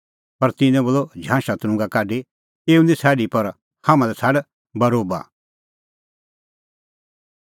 पर तिन्नैं बोलअ झांशा तरुंगा काढी एऊ निं छ़ाडी पर हाम्हां लै छ़ाड बरोबा